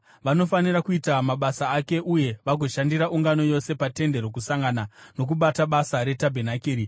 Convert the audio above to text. Vanofanira kuita mabasa ake uye vagoshandira ungano yose paTende Rokusangana nokubata basa retabhenakeri.